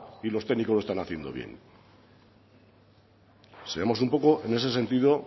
y los técnicos lo están haciendo bien seamos un poco sensatos en ese sentido